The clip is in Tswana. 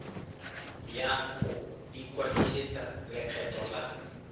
ya go ikwadisetsa lekgetho la